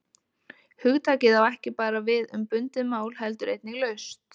Hugtakið á ekki bara við um bundið mál heldur einnig laust.